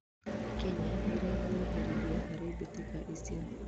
Kenya nĩirenyeheririe harĩ mbitika ĩcio.